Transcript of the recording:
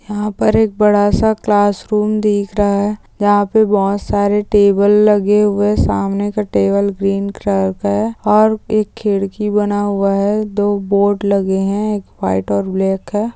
यहां पर एक बड़ा सा क्लासरूम दिख रहा है जहां पर बहुत सारे टेबल लगे हुए है सामने का टेबल ग्रीन कलर का है और एक खिड़की बना हुआ है दो बोर्ड लगे हैंएक व्हाइट और ब्लैक है।